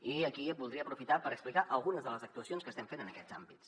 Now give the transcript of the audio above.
i aquí voldria aprofitar per explicar algunes de les actuacions que estem fent en aquests àmbits